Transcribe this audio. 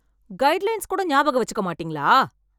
Guide lines கூட ஞாபகமா வச்சுக்க மாட்டீங்களா?